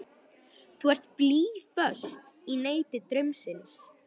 Þú ert blýföst í neti draumsins.